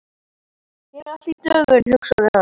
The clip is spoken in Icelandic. Hér er allt í dögun, hugsaði hann.